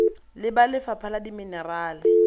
le ba lefapha la dimenerale